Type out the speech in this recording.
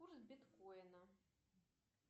курс биткоина